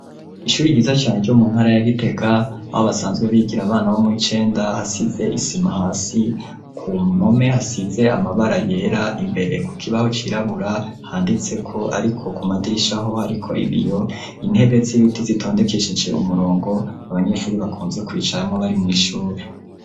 Ishuri ryiza cane ryo mu ntara ya Gitega aho basanzwe bigira abana bo muw'icenda, hasize isima hasi ku mpome hasize amabara yera imbere kuk'ibaho cirabura handitseko ariko ku madirishaho hariko ibiyo, intebe z'ibiti zitondekesheje umurongo abanyeshuri bakunze kwicaramwo bari mw'ishuri.